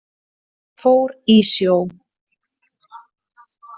Fór í sjó.